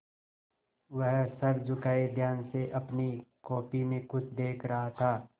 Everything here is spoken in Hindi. वह सर झुकाये ध्यान से अपनी कॉपी में कुछ देख रहा था